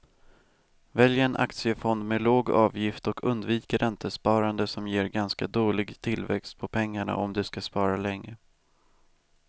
Välj en aktiefond med låg avgift och undvik räntesparande som ger ganska dålig tillväxt på pengarna om du ska spara länge.